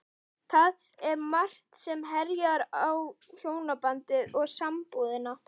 Það er margt sem herjar á hjónabandið og sambúðina.